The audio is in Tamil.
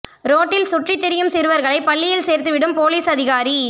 ரோட்டில் சுற்றித் திரியும் சிறுவர்களை பள்ளியில் சேர்த்து விடும் போலீஸ் அதிகாரி